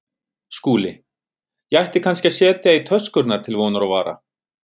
SKÚLI: Ég ætti kannski að setja í töskurnar til vonar og vara.